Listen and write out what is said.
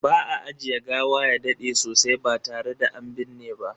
Ba a ajiye gawa ya dade sosai ba tare da an binne ba.